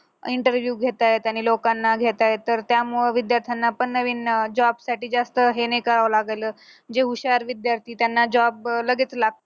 interview घेता येत आणि लोकांना घेता येत त्यामुळे विद्यार्थ्यांना पण नवीन job साठी जास्त हे नाही करावं लागल जे हुशार विद्यार्थी त्यांना job अं लगेच